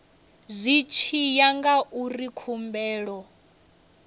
zwi tshi ya ngauri khumbelo